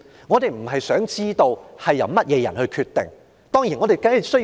我們並非想知道由誰人決定這些措施。